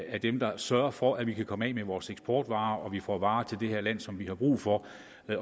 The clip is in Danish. er dem der sørger for at vi kan komme af med vores eksportvarer og at vi får varer til det her land som vi har brug for